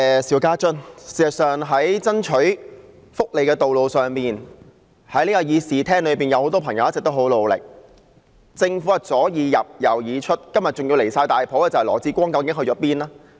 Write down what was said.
事實上，在爭取福利的道路上，這議事廳裏有很多朋友一直很努力，但政府左耳入右耳出，今天更離譜的是，羅致光局長去了哪裏？